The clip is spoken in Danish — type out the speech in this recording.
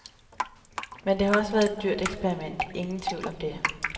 Men det har også været et dyrt eksperiment, ingen tvivl om det.